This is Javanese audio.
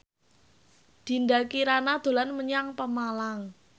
Dinda Kirana dolan menyang Pemalang